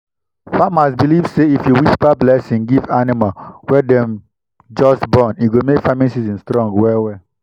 farmers believe say if you whisper blessing give animal wey dem just born e go make farming season strong well well.